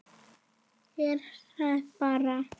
Þeir hlæja bara.